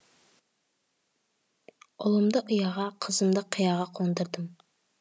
ұлымды ұяға қызымды қияға қондырдым